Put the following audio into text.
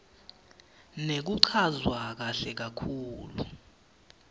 nekuchazwa kahle kakhulu